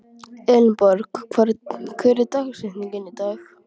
Elinborg, hver er dagsetningin í dag?